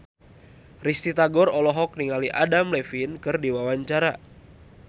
Risty Tagor olohok ningali Adam Levine keur diwawancara